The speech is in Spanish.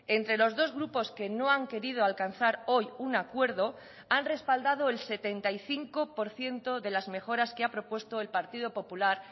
entre los dos grupos que no han querido alcanzar hoy un acuerdo han respaldado el setenta y cinco por ciento de las mejoras que ha propuesto el partido popular